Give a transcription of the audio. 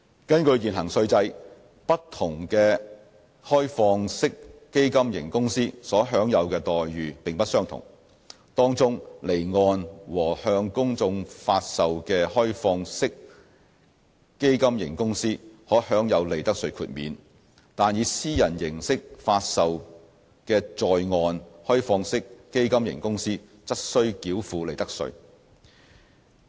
根據現行稅制，不同的開放式基金型公司所享有的待遇並不相同；其中，離岸和向公眾發售的開放式基金型公司可享有利得稅豁免，但以私人形式發售的在岸開放式基金型公司則須繳付利得稅。